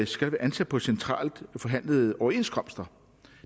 skal være ansat på centralt forhandlede overenskomster